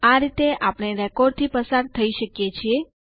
આ રીતે આપણે રેકોર્ડ થી પસાર થઇ શકીએ છીએ